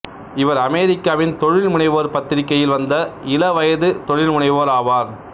இவர் அமெரிக்காவின் தொழில்முனைவோர் பத்திரிகையில் வந்த இளவயது தொழில்முனைவோர் ஆவார்